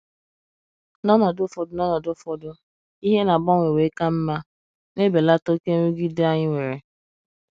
N’ọnọdụ ụfọdụ N’ọnọdụ ụfọdụ, ihe na - agbanwe wee ka mma, na - ebelata oké nrụgide anyi were..